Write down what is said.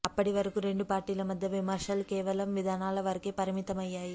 అప్పటి వరకూ రెండు పార్టీల మధ్య విమర్శలు కేవలం విధానాల వరకే పరిమితమయ్యాయి